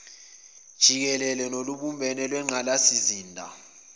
jikele nolubumbene lwengqalasizinda